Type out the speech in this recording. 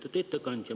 Lugupeetud ettekandja!